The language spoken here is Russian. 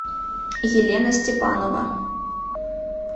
елена степанова